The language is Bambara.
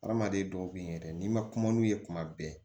Hadamaden dɔw bɛ ye yɛrɛ n'i ma kuma n'u ye kuma bɛɛ